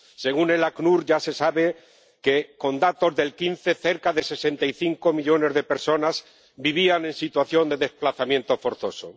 Según el ACNUR ya se sabe que, con datos de 2015, cerca de 65 millones de personas vivían en situación de desplazamiento forzoso.